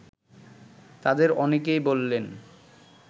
তাদের অনেকেই বললেন